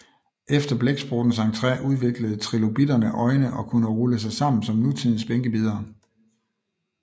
Efter blæksprutternes entré udviklede trilobitterne øjne og kunne rulle sig sammen som nutidens bænkebidere